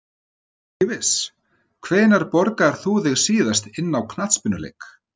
Ekki viss Hvenær borgaðir þú þig síðast inn á knattspyrnuleik?